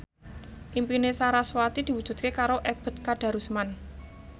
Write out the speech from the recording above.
impine sarasvati diwujudke karo Ebet Kadarusman